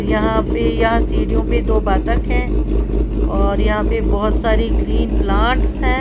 यहां पे यहां सीढ़ियों पे दो बातक हैं और यहां पे बहोत सारी ग्रीन प्लांट्स है।